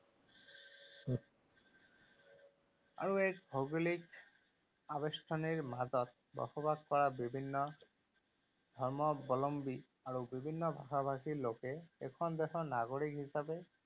আৰু এক ভৌগোলিক আবেষ্টনিৰ মাজত বসবাস কৰা বিভিন্ন ধৰ্মাৱলম্বী আৰু বিভিন্ন ভাষাভাষী লোকে এইখন দেশৰ নাগৰিক হিচাপে